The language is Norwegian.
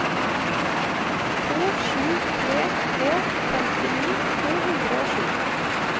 to sju tre tre femtini to hundre og sju